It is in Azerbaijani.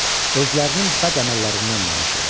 Özlərinin bəd əməllərindən danışırlar.